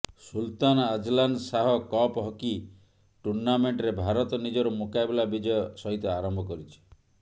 ସୁଲତାନ Azlan Shah cup hockey ଟୁର୍ଣ୍ଣାମେଣ୍ଟରେ ଭାରତ ନିଜର ମୁକାବିଲା ବିଜୟ ସହିତ ଆରମ୍ଭ କରିଛି